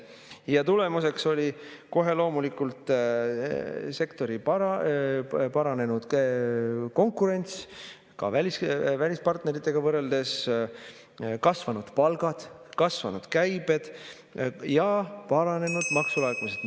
Ja tulemuseks oli kohe loomulikult sektori paranenud konkurents, ka välispartneritega võrreldes kasvanud palgad, kasvanud käibed ja paranenud maksulaekumised.